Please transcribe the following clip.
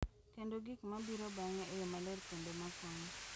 Kendo gik ma biro bang’e e yo maler kendo ma konyo,